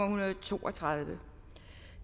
hundrede og to og tredive